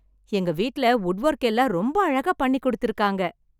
எங்க வீட்ல wood work எல்லாம் ரொம்ப அழகா பண்ணி கொடுத்திருக்காங்க.